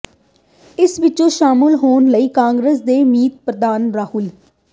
ਇਸ ਵਿੁਚ ਸ਼ਾਮਲ ਹੋਣ ਲਈ ਕਾਂਗਰਸ ਦੇ ਮੀਤ ਪ੍ਰਧਾਨ ਰਾਹੁਲ